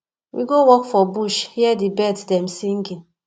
we go walk for bush hear di birds dem singing